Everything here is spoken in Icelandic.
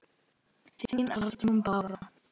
Þín, Arnrún Bára.